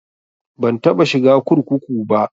Ban taɓa shiga kurkuku ba